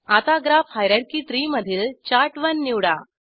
आता ग्राफ हायररची त्री मधील चार्ट1 निवडा